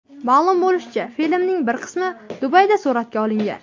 Ma’lum bo‘lishicha, filmning bir qismi Dubayda suratga olingan.